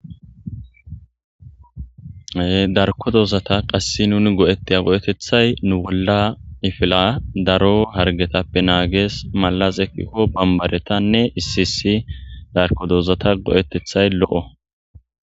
Darko dozata qasse nuni go'ettey go'etethay nu bolla ifila daro hargetappe naagees malaz ekkikko bambaretanne iisisi darko doozata go'etethay lo'o.